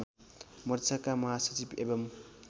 मोर्चाका महासचिव एवं